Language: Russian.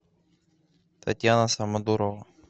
татьяна самодурова